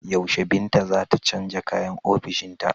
Yaushe Binta za ta canja kayan ofishinta.